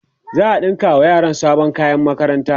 za'a ɗinka wa yaran sabon kayan makaranta